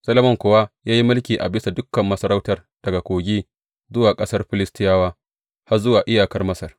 Solomon kuwa ya yi mulki a bisa dukan masarautai daga Kogi zuwa ƙasar Filistiyawa, har zuwa iyakar Masar.